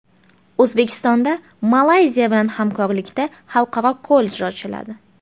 O‘zbekistonda Malayziya bilan hamkorlikda xalqaro kollej ochiladi.